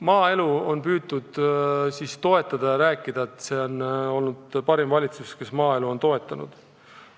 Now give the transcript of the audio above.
Maaelu on püütud toetada ja rääkida, et see on olnud parim valitsus, kes maaelu on toetanud.